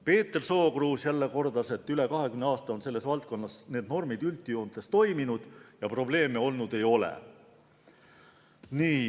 Peeter Sookruus kordas jälle, et üle 20 aasta on selles valdkonnas need normid üldjoontes toiminud ja probleeme olnud ei ole.